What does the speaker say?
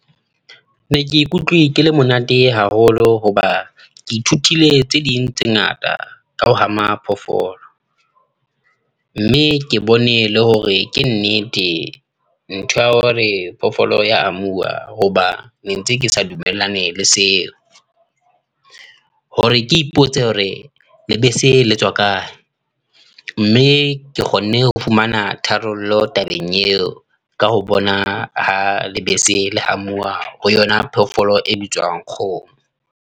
Ne ke ikutlwe ke le monate haholo hoba, ke ithutile tse ding tse ngata, ka ho hama phofolo. Mme ke bone le hore ke nnete ntho ya hore phoofolo e ya hamuwa. Hoba ne ntse ke sa dumellane le seo. Hore ke ipotse hore lebese le tswa kae. Mme ke kgonne ho fumana tharollo tabeng eo. Ka ho bona ha lebese le hamuwa ho yona phoofolo e bitswang Kgomo.